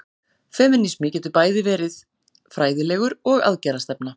Femínismi getur verið bæði fræðilegur og aðgerðastefna.